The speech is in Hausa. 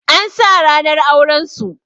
An sa ranar auren su